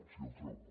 si el trobo